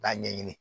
K'a ɲɛɲini